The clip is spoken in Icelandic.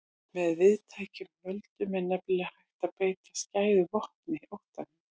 Með víðtækum völdum er nefnilega hægt að beita skæðu vopni, óttanum.